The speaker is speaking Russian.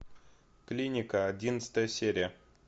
клиника одиннадцатая серия